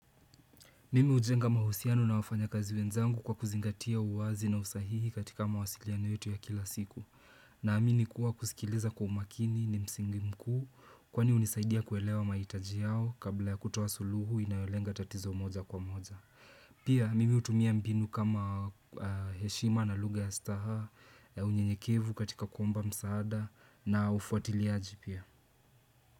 Mimi hujenga mahusiano na wafanyikazi wenzangu kwa kuzingatia uwazi na usahihi katika mawasiliano yetu ya kila siku. Naamini kuwa kusikiliza kwa umakini ni msingi mkuu kwani hunisaidia kuelewa mahitaji yao kabla ya kutoa suluhu inayolenga tatizo moja kwa moja. Pia mimi hutumia mbinu kama heshima na lugha ya staha, unyenyekevu katika kuomba msaada na ufuatiliaji pia.